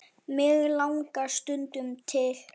mig langar stundum til.